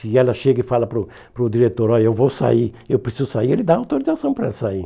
Se ela chega e fala para o para o diretor, olha, eu vou sair, eu preciso sair, ele dá autorização para ela sair.